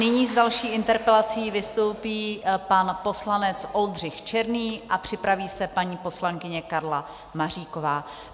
Nyní s další interpelací vystoupí pan poslanec Oldřich Černý a připraví se paní poslankyně Karla Maříková.